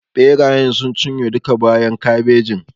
Ɓerayen sun cinye duka bayan kabejin.